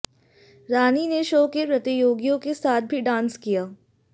रानी ने शो के प्रतियोगियों के साथ भी डांस किया